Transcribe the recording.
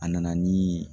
A nana nii